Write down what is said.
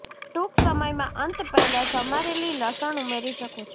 ટૂંક સમયમાં અંત પહેલા સમારેલી લસણ ઉમેરી શકો છો